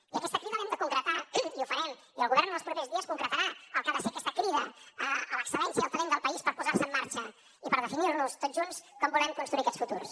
i aquesta crida l’hem de concretar i ho farem i el govern els propers dies concretarà el que ha de ser aquesta crida a l’excel·lència i al talent del país per posar se en marxa i per definir tots junts com volem construir aquests futurs